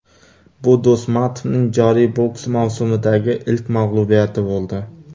Bu Do‘smatovning joriy boks mavsumidagi ilk mag‘lubiyati bo‘ldi.